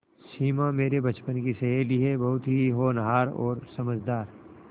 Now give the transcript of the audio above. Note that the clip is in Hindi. सिमा मेरे बचपन की सहेली है बहुत ही होनहार और समझदार